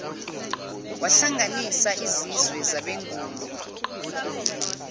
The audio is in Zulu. wahlanganisa izizwe zabenguni